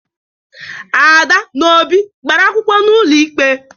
Ada na Obi gbara akwụkwọ n'ụlọ ikpe